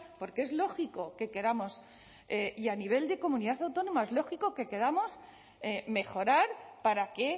porque es lógico que queramos y a nivel de comunidad autónoma es lógico que queramos mejorar para que